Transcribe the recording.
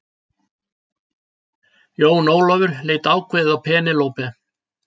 Jón Ólafur leit ákveðið á Penélope.